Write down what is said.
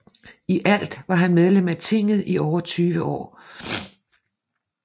I alt var han medlem af tinget i over 20 år